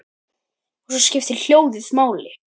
Og svo skiptir hljóðið máli.